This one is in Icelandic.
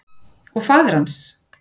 Og faðir hans?